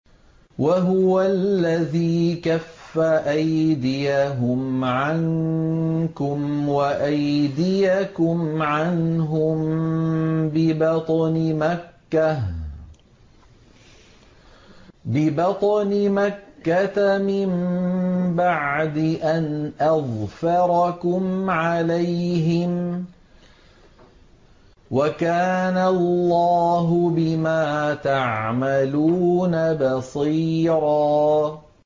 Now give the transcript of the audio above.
وَهُوَ الَّذِي كَفَّ أَيْدِيَهُمْ عَنكُمْ وَأَيْدِيَكُمْ عَنْهُم بِبَطْنِ مَكَّةَ مِن بَعْدِ أَنْ أَظْفَرَكُمْ عَلَيْهِمْ ۚ وَكَانَ اللَّهُ بِمَا تَعْمَلُونَ بَصِيرًا